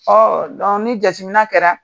jateminɛ kɛra